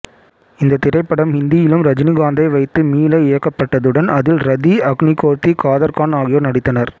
இந்த திரைப்படம் ஹிந்தியிலும் ரஜினிகாந்தை வைத்து மீள இயக்கப்பட்டதுடன் அதில் ரதி அக்னிகோர்த்தி காதர் கான் ஆகியோர் நடித்தனர்